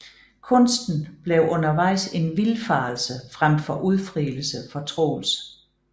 Kunsten bliver undervejs en vildfarelse frem for udfrielse for Troels